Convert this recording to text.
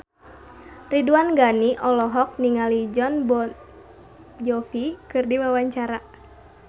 Ridwan Ghani olohok ningali Jon Bon Jovi keur diwawancara